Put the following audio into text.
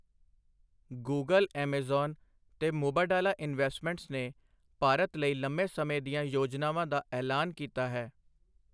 Google, Amazon ਤੇ Mubadala Investments ਨੇ ਭਾਰਤ ਲਈ ਲੰਮੇ ਸਮੇਂ ਦੀਆਂ ਯੋਜਨਾਵਾਂ ਦਾ ਐਲਾਨ ਕੀਤਾ ਹੈ।